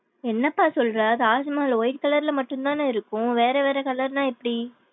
என்னப்பா சொல்ற. Taj Mahal white colour ல மட்டும்தான் இருக்கும் வேற வேற colour னா எப்டி?